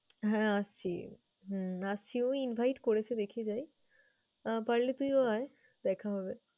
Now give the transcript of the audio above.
হ্যাঁ আসছি হুম আসছি, ওই invite করেছে দেখি যাই। আহ পারলে তুইও আয়, দেখা হবে।